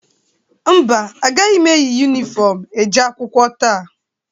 Mba, agaghị eyi yunifọmụ eje akwụkwọ taa.